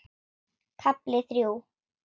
KAFLI ÞRJÚ